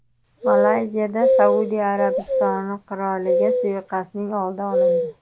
Malayziyada Saudiya Arabistoni qiroliga suiqasdning oldi olindi.